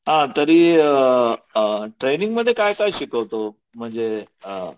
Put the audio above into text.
हां तरी ट्रेनिंगमध्ये काय काय शिकवतो म्हणजे अ